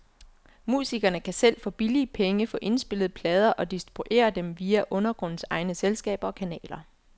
Musikerne kan selv for billige penge få indspillet plader og distribuere dem via undergrundens egne selskaber og kanaler.